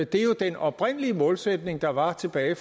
det er jo den oprindelige målsætning der var tilbage